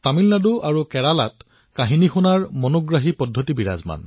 তামিলনাডু আৰু কেৰালাত সাধু কোৱাৰ এক আমোদজনক পদ্ধতি আছে